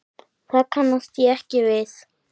Það kannast ég ekki við.